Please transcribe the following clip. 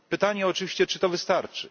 Pytanie oczywiście, czy to wystarczy.